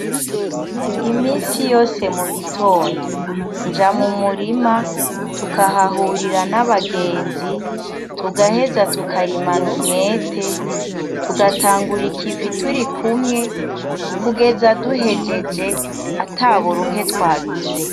Iminsi yose mu gitondo, nja mu murima tukahahurira n'abagenzi tugaheza tukarimana umwete, tugatangura ikivi turi kumwe, kugeza duhejeje, ata buruhe twagize.